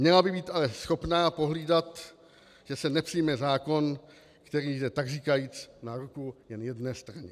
Měla by být ale schopná pohlídat, že se nepřijme zákon, který jde takříkajíc na ruku jen jedné straně.